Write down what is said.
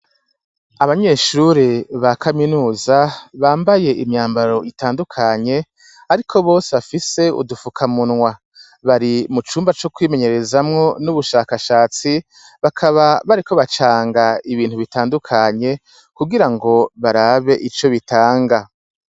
Abanyeshuri ba kaminuza bambaye imyambaro itandukanye, ariko bose bafise udufuka munwa bari mu cumba co kwimenyerezamwo n'ubushakashatsi bakaba bariko bacanga ibintu bitandukanye kugira ngo barabe ico bitanga.